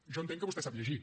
jo entenc que vostè sap llegir